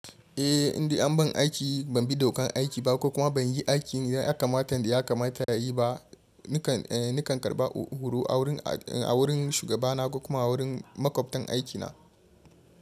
Eh, indai an ban aiki, ban bi dokan aiki ba ko kuma ban yi aikin ya kamata da ya kamata a yi ba. Nakan karba horo a wurin shugabana kuma a wurin makwabtan aikina.